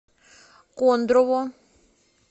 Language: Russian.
кондрово